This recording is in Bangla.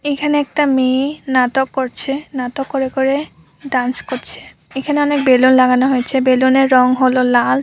এখানে একটা মেয়েনাটক করছেনাটক করে করে ডান্স করছে এখানে অনেক বেলুন লাগানো হয়েছে বেলুন -এর রং হলো লাল।